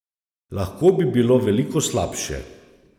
Lahko bi bilo veliko slabše.